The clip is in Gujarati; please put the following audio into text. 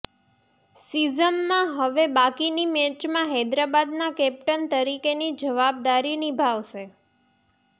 સિઝમમાં હવે બાકીની મેચમાં હૈદરાબાદના કેપ્ટન તરીકેની જવાબદારી નિભાવશે